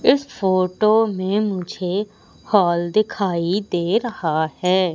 इस फोटो में मुझे हॉल दिखाई दे रहा है।